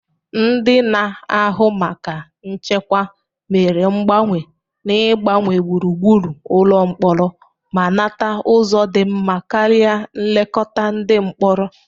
Ndị na-ahụ maka nchekwa mere mgbanwe n'ịgbanwe gburugburu ụlọ mkpọrọ ma nata ụzọ dị mma karịa nlekọta ndị mkpọrọ.